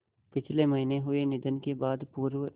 पिछले महीने हुए निधन के बाद पूर्व